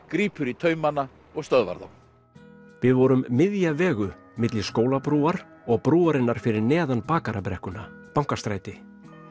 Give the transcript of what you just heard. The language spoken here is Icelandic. grípur í taumana og stöðvar þá við vorum miðja vegu milli Skólabrúar og brúarinnar fyrir neðan Bakarabrekkuna Bankastræti